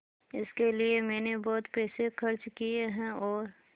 इसके लिए मैंने बहुत पैसे खर्च किए हैं और